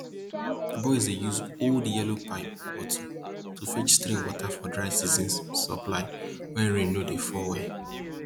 boys dey use old yellow pipe bottles to fetch stream water for dry season supply when rain no dey fall well